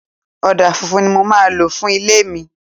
Ọ̀dà funfun ni mo máa lò fún ilé mi.